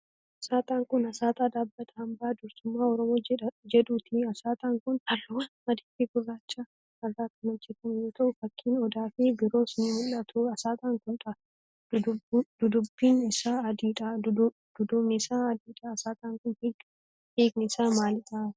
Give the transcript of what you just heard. Asxaan kun, asxaa dhaabbata Hambaa dursummaa Oromoo jedhuuti. Asxaan kun, haalluuwwan adii fi gurraacha irraa kan hojjatame yoo ta'u, fakkiin odaa fi biroos ni mul'atu. Asxaan kun, dudduubni isaa adii dha. Asxaan kun, hiikni isaa maaalidha?